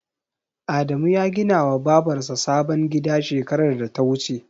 Adamu ya gina wa Babar sa sabon gida shekarar da ta wuce